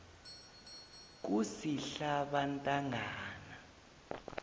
kusihlabantangana